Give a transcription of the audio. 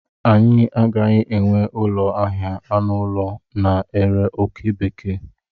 Anyị agaghị enwe ụlọ ahịa anụ ụlọ na-ere oke bekee.